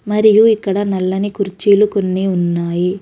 మరియు ఇక్కడ నల్లని కుర్చీలు కొన్ని ఉన్నాయి.